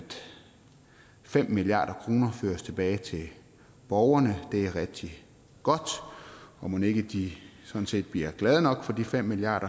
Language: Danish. fem milliard kroner føres tilbage til borgerne det er rigtig godt og mon ikke de sådan set bliver glade nok for de fem milliard